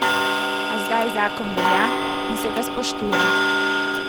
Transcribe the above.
A zdaj zakon velja in se ga spoštuje.